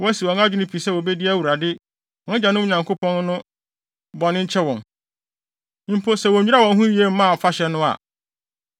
wɔasi wɔn adwene pi sɛ wobedi Awurade, wɔn agyanom Nyankopɔn akyi no bɔne nkyɛ wɔn, mpo, sɛ wonnwiraa wɔn ho yiye mmaa afahyɛ no a.”